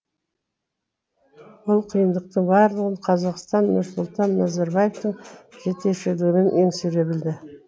бұл қиындықтың барлығын қазақстан нұрсұлтан назарбаевтың жетекшілігімен еңсере білді